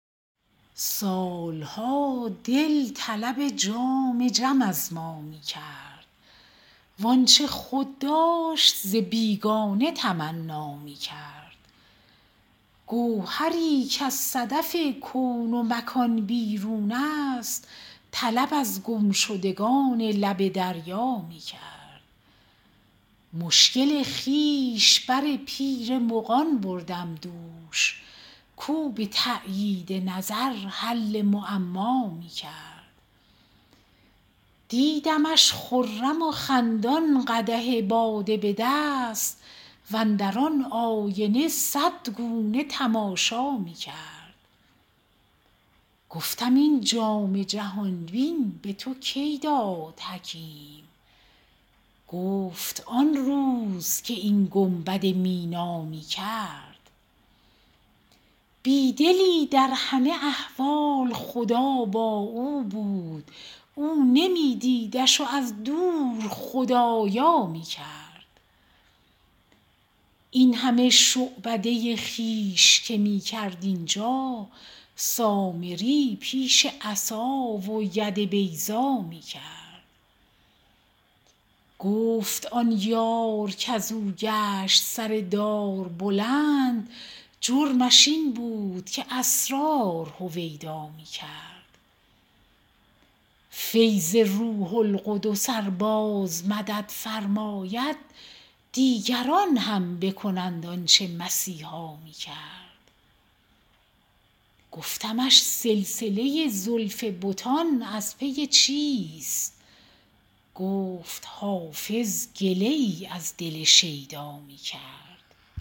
سال ها دل طلب جام جم از ما می کرد وآنچه خود داشت ز بیگانه تمنا می کرد گوهری کز صدف کون و مکان بیرون است طلب از گمشدگان لب دریا می کرد مشکل خویش بر پیر مغان بردم دوش کاو به تأیید نظر حل معما می کرد دیدمش خرم و خندان قدح باده به دست واندر آن آینه صد گونه تماشا می کرد گفتم این جام جهان بین به تو کی داد حکیم گفت آن روز که این گنبد مینا می کرد بی دلی در همه احوال خدا با او بود او نمی دیدش و از دور خدارا می کرد این همه شعبده خویش که می کرد اینجا سامری پیش عصا و ید بیضا می کرد گفت آن یار کز او گشت سر دار بلند جرمش این بود که اسرار هویدا می کرد فیض روح القدس ار باز مدد فرماید دیگران هم بکنند آن چه مسیحا می کرد گفتمش سلسله زلف بتان از پی چیست گفت حافظ گله ای از دل شیدا می کرد